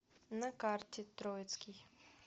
на карте троицкий